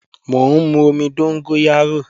Mò ń mú omi dóngóyárò